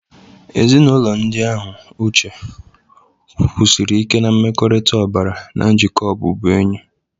Ezinaụlọ ndị ahụ, Uche, kwusiri ike na mmekọrịta ọbara na njikọ ọbụbụenyi.